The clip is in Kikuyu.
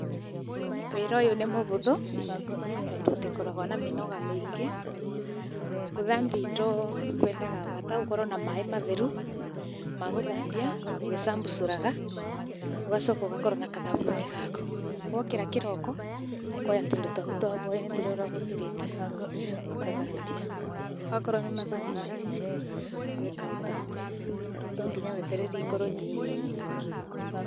Wĩra ũyũ nĩ mũvũthũ, tondũ ũtikoragwo na mĩnoga mĩingĩ. Kũthambia indo kwendaga vata ũkorwo na maĩ matheru ma gũthambia ũgĩcambucũraga ũgacoka ũgakorwo na kathavuni gaku. Wokĩra kĩroko ũkoya tũindo twaku twa vwainĩ tũrĩa ũravũthĩrĩte, ũkathambia. Okorwo nĩ mathaa ma rangi, ũgeka ota ũguo tondũ tonginya wetererie ikorwo nyiingĩ.